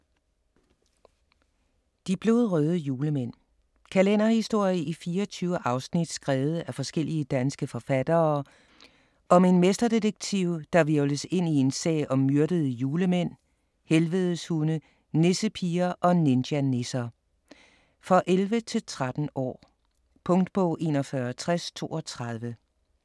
De blodrøde julemænd Kalenderhistorie i 24 afsnit skrevet af forskellige danske forfattere om en mesterdetektiv der hvirvles ind i en sag om myrdede julemænd, helvedeshunde, nissepiger og ninjanisser. For 11-13 år. Punktbog 416032 2016. 1 bind.